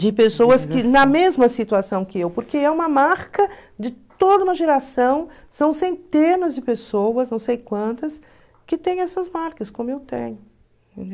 De pessoas que, na mesma situação que eu, porque é uma marca de toda uma geração, são centenas de pessoas, não sei quantas, que têm essas marcas, como eu tenho.